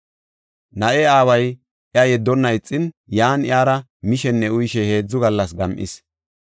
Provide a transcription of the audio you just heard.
Na7ee aaway iya yeddonna ixin, yan iyara mishenne uyishe heedzu gallas gam7is.